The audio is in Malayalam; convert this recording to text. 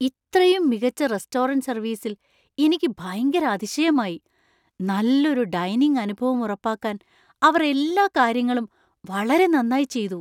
ഇത്രയും മികച്ച റെസ്റ്റോറന്‍റ് സർവീസിൽ എനിക്ക് ഭയങ്കര അതിശയമായി; നല്ലൊരു ഡൈനിംഗ് അനുഭവം ഉറപ്പാക്കാൻ അവർ എല്ലാ കാര്യങ്ങളും വളരെ നന്നായി ചെയ്തു.